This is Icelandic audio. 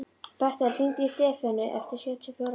Bertel, hringdu í Stefönu eftir sjötíu og fjórar mínútur.